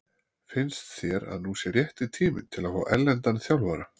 Finnst þér að nú sé rétti tíminn til að fá erlendan þjálfara?